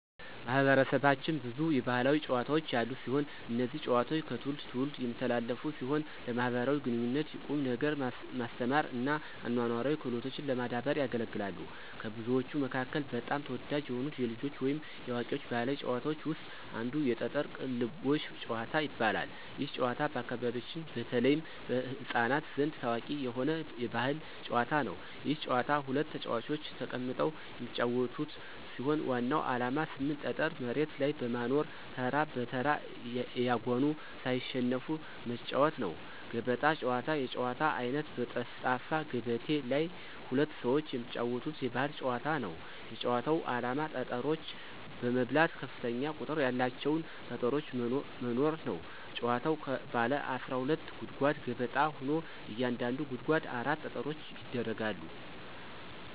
ማህበረሰባችን ብዙ የባህላዊ ጨዋታዎች ያሉት ሲሆን። እነዚህ ጨዋታዎች ከትውልድ ትውልድ የሚተላለፉ ሲሆን ለማኅበራዊ ግንኙነት፣ ቁም ነገር ማስተማር እና አኗኗራዊ ክህሎቶችን ለማዳበር ያገለግላሉ። ከብዙዎቹ መካከል በጣም ተወዳጅ የሆኑት የልጆች ወይም የአዋቂዎች ባህላዊ ጨዋታዎች ውስጥ አንዱ የጠጠር ቅልቦሽ ጭዋታ ይባላል። ይህ ጨዋታ በአካባቢያችን በተለይም በሕፃናት ዘንድ ታዋቂ የሆነ የባህል ጨዋታ ነው። ይህ ጨዋታ ሁለት ተጫዋቾች ተቀምጠው የሚጫወቱት ሲሆን ዋናው ዓላማ 8 ጠጠር መሬት ላይ በማኖር ተራ በተራ እያጎኑ ሳይሸነፉ መጫዎት ነው። ገበጣ ጨዋታ የጨዋታ አይነት በጠፍጣፋ ገበቴ ላይ ሁለት ሰዎች የሚጫወቱት የባህል ጨዋታ ነው። የጭዋታው አላማ ጠጠሮች በመብላት ከፍተኛ ቁጥር ያላቸውን ጠጠሮች መኖር ነው። ጭዋታዉ ባለ 12 ጉድጓድ ገበጣ ሆኖ እያንዳንዱ ጉድጓድ 4 ጠጠሮች ይደረጋሉ።